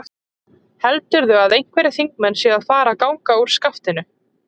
Heldurðu að einhverjir þingmenn séu að fara að ganga úr skaftinu?